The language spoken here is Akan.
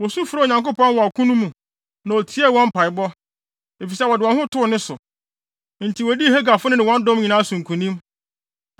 Wosu frɛɛ Onyankopɔn wɔ ɔko no mu, na otiee wɔn mpaebɔ, efisɛ wɔde wɔn ho too ne so. Enti wodii Hagarfo no ne wɔn dɔm nyinaa so nkonim.